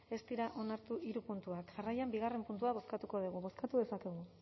ez dira onartu hiru puntuak jarraian bigarrena puntua bozkatuko dugu bozkatu dezakegu